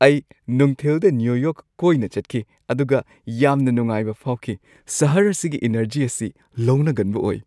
ꯑꯩ ꯅꯨꯡꯊꯤꯜꯗ New York ꯀꯣꯏꯅ ꯆꯠꯈꯤ ꯑꯗꯨꯒ ꯌꯥꯝꯅ ꯅꯨꯡꯉꯥꯏꯕ ꯐꯥꯎꯈꯤ꯫ ꯁꯍꯔ ꯑꯁꯤꯒꯤ ꯏꯅꯔꯖꯤ ꯑꯁꯤ ꯂꯧꯅꯒꯟꯕ ꯑꯣꯏ꯫